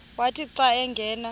wathi xa angena